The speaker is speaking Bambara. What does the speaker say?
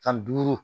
San duuru